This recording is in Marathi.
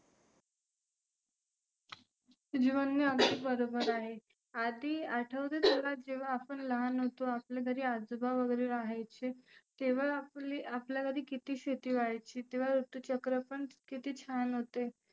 तुझे म्हणने अगदी बरोबर आहे. आदी आठवते तुला जेव्हा आपण लहान होतो आपल्या घरी आजोबा वगैरे रहायचे तेव्हा आपली आपल्यात आधी किती शेती व्हायची तेव्हा ऋतूचक्र पण किती छान होते.